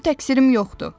Mənim təqsirim yoxdur.